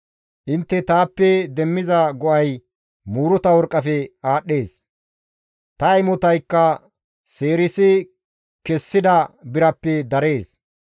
Intte taappe demmiza go7ay muuruta worqqafe aadhdhees; ta imotaykka seerisi kessida birappe darees.